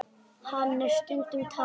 Hann er stundum talinn